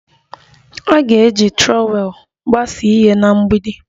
A ga-eji trọwel gbasaa ihe na mgbidi